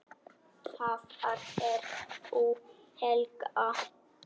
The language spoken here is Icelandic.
Hvar er frú Helga?